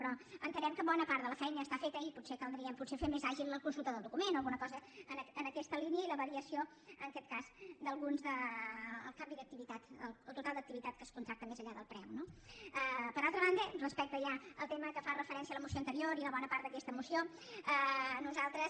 però entenem que bona part de la feina ja està feta i potser caldria fer més àgil la consulta del document o alguna cosa en aquesta línia i la variació en aquest cas d’alguns del canvi d’activitat el total d’activitat que es contracta més enllà del preu no per altra banda respecte ja al tema a què fa referència la moció anterior i una bona part d’aquesta moció nosaltres